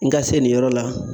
N ga se nin yɔrɔ la